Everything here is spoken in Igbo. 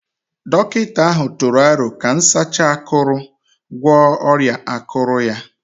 Dọkịta ahụ tụrụ aro ka nsacha akuru gwọọ ọrịa akụrụ ya